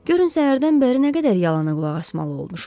Görün səhərdən bəri nə qədər yalana qulaq asmalı olmuşuq.